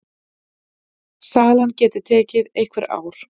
Salan geti tekið einhver ár.